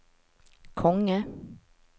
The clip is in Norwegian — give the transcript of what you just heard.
konge